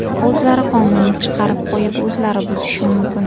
O‘zlari qonunni chiqarib qo‘yib, o‘zlari buzishi mumkin.